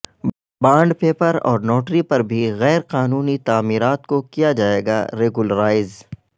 bond paper اور notary پر بھی غیر قانونی تعمیرات کو کیا جائیگاریگولرائز